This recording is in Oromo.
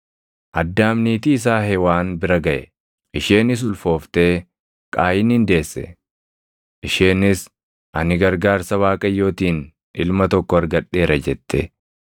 Addaam niitii isaa Hewaan bira gaʼe; isheenis ulfooftee Qaayinin deesse. Isheenis, “Ani gargaarsa Waaqayyootiin ilma tokko argadheera” jette.